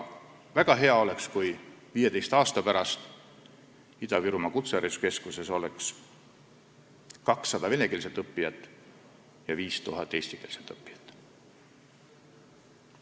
Väga hea oleks, kui 15 aasta pärast oleks Ida-Virumaa Kutsehariduskeskuses 200 venekeelset ja 5000 eestikeelset õppijat.